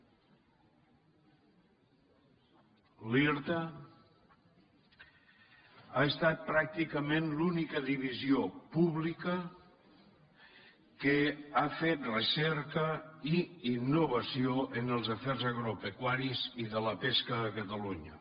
l’irta ha estat pràcticament l’única divisió pública que ha fet recerca i innovació en els afers agropecuaris i de la pesca a catalunya